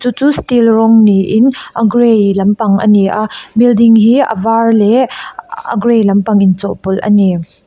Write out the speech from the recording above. chu steel rawng niin a grey lampang a ni a building hi a var leh a a grey lampang in chawhpawlh a ni.